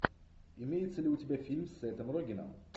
имеется ли у тебя фильм с сетом рогеном